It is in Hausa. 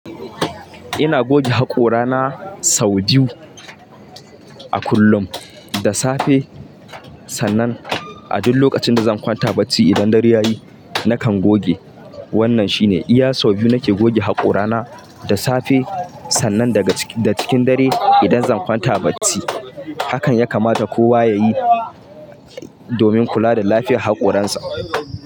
Ina goge haƙora na sau biyu, a kullum, da safe, sannan a duk lokacin da zan kwanta bacci idan dare ya yi, nakan goge. Wannan shine iya sau biyu nake goge haƙora na, da safe, sannan da cikin dare idan zan kwanta bacci. Hakan ya kamata kowa ya yi, domin kula da lafiyar haƙoransa.